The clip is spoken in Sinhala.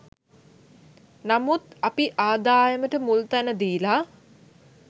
නමුත් අපි ආදායමට මුල්තැන දීලා